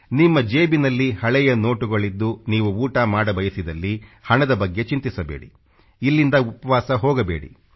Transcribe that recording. ನಿಮ್ಮ ಜೇಬಿನಲ್ಲಿ ಹಳೆಯ ನೋಟುಗಳಿದ್ದು ನೀವು ಊಟ ಮಾಡಬಯಸಿದಲ್ಲಿ ಹಣದ ಬಗ್ಗೆ ಚಿಂತಿಸಬೇಡಿ ಇಲ್ಲಿಂದ ಉಪವಾಸ ಹೋಗಬೇಡಿ